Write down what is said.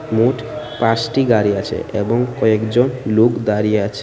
মোট পাঁসটি গাড়ি আছে এবং কয়েকজন লোক দাঁড়িয়ে আছে।